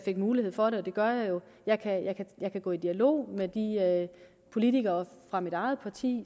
mulighed for det og det gør jeg jo kan jeg gå i dialog med de politikere fra mit eget parti